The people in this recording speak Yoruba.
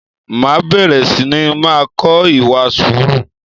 Máa bẹ̀rẹ̀ sini máa kọ ìwà sùúrù